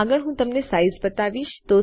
આગળ હું તમને સાઈઝ બતાવીશ